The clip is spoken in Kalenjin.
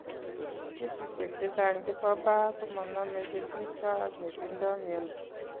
Kesishek chechang chepo pah komaname chetupcho ak netindoi miondo